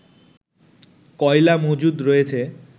কয়লা মজুদ রয়েছে